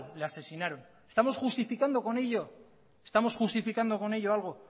le asesinaron estamos justificando con ello estamos justificando con ello algo